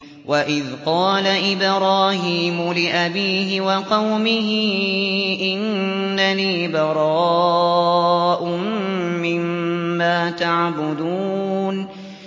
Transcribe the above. وَإِذْ قَالَ إِبْرَاهِيمُ لِأَبِيهِ وَقَوْمِهِ إِنَّنِي بَرَاءٌ مِّمَّا تَعْبُدُونَ